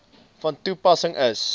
van toepassing is